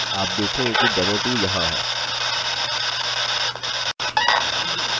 आप देखेंगे कि demo2 यहाँ है